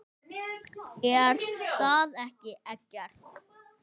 Er það ekki Eggert?